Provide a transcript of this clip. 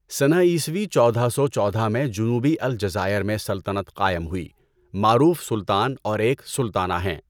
سنہ عیسوی چودہ سو چودہ میں جنوبی الجزائر میں سلطنت قائم ہوئی، معروف سلطان اور ایک سلطانہ ہیں۔